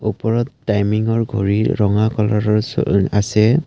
ওপৰত টাইমিংৰ ঘড়ীৰ ৰঙা কালাৰৰ আছে।